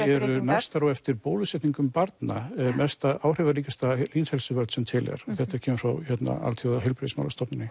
eru næstar á eftir bólusetningum barna áhrifaríkasta heilsuvörn sem til er þetta kemur frá Alþjóðaheilbrigðismálastofnuninni